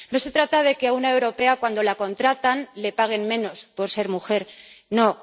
No se trata de que a una europea cuando la contratan le paguen menos por ser mujer, no.